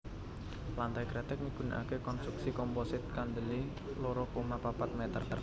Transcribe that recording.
Lantai kreteg migunakaké konstruksi komposit kandelé loro koma papat mèter